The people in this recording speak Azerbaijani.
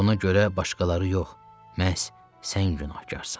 Buna görə başqaları yox, məhz sən günahkarsan.